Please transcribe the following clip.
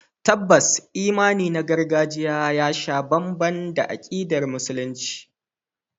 Tabbas imani na gargajiya ya sha bamban da akidar Musulunci.